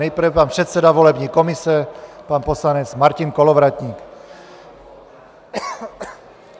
Nejprve pan předseda volební komise pan poslanec Martin Kolovratník.